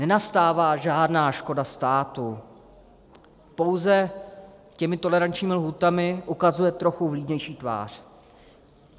Nenastává žádná škoda státu, pouze těmi tolerančními lhůtami ukazuje trochu vlídnější tvář.